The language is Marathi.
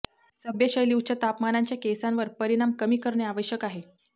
सभ्य शैली उच्च तापमानांच्या केसांवर परिणाम कमी करणे आवश्यक आहे